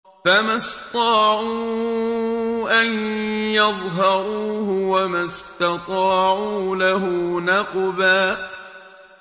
فَمَا اسْطَاعُوا أَن يَظْهَرُوهُ وَمَا اسْتَطَاعُوا لَهُ نَقْبًا